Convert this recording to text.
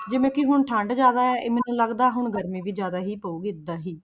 ਜਿਵੇਂ ਕਿ ਹੁਣ ਠੰਢ ਜ਼ਿਆਦਾ ਹੈ ਮੈਨੂੰ ਤਾਂ ਲੱਗਦਾ ਹੁਣ ਗਰਮੀ ਵੀ ਜ਼ਿਆਦਾ ਹੀ ਪਊਗੀ ਏਦਾਂ ਹੀ।